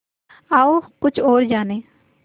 आओ कुछ और जानें